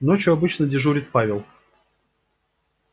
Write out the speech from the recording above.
ночью обычно дежурит павел